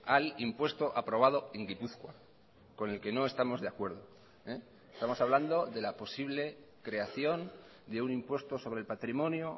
al impuesto aprobado en gipuzkoa con el que no estamos de acuerdo estamos hablando de la posible creación de un impuesto sobre el patrimonio